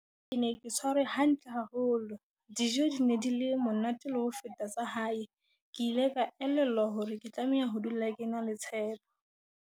"Ke ne ke tshwarwe hantle haholo. Dijo di ne di le monate le ho feta tsa hae. Ke ile ka elellwa hore ke tlameha ho dula ke na le tshepo."